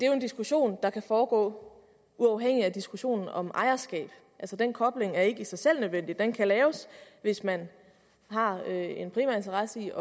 jo en diskussion der kan foregå uafhængigt af diskussionen om ejerskab altså den kobling er ikke i sig selv nødvendig den kan laves hvis man har en primær interesse i